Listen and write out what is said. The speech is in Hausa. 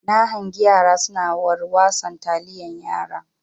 Na hangi yara suna warwason taliyan yara.